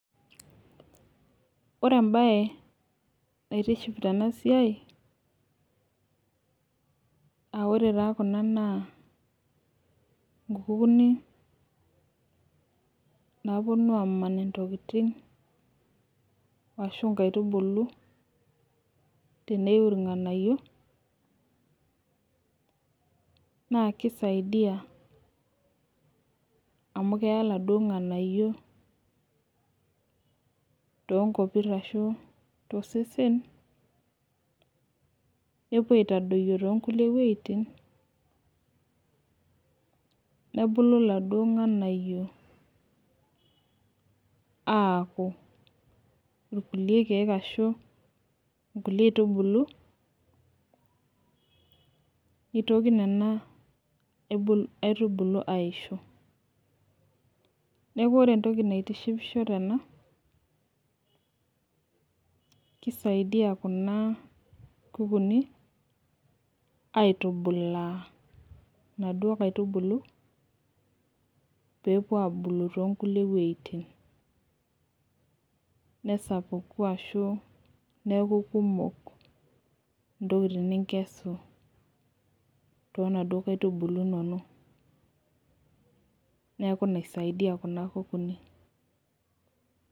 Ore mbaye naitiship tenasiai [aa] ore taa kuna naa inkukuni naapuonu aaman intokitin ashu inkaitubulu teneiu ilng'anayio naakeisaidia amu keya laduo ng'anayio toonkopirr ashu tosesen, nepuo aitadoyo toonkulie wueitin nebulu laduo ng'anayio aaku ilkulie keek ashu inkulie aitubulu neitoki nena aibul aitubulu aaisho. Neaku ore entoki naitishipisho tena keisaidia kuna kukuni aitubulaa naduo kaitubulu peepuo abulu toonkulie wueitin nesapuku ashu neaku kumok intokitin ninkesu toonaduo kaitubulu inono. Neaku ina eisaidia kuna kukuni.